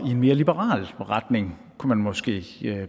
i en mere liberal retning kunne man måske